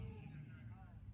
Buyur, canım.